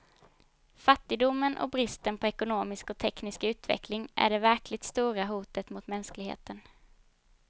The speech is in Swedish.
Fattigdomen och bristen på ekonomisk och teknisk utveckling är det verkligt stora hotet mot mänskligheten.